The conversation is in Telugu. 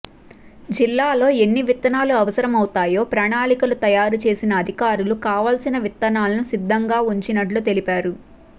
జిల్లాలో ఎన్ని విత్తనాలు అవసరమవుతాయో ప్రణాళికలు తయారు చేసిన అధికారులు కావాల్సిన విత్తనాలను సిద్ధంగా ఉంచినట్లు తెలిపారు